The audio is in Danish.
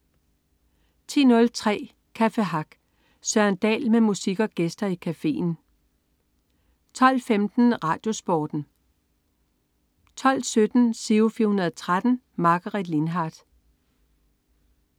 10.03 Café Hack. Søren Dahl med musik og gæster i cafeen 12.15 RadioSporten 12.17 Giro 413. Margaret Lindhardt